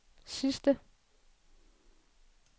sidste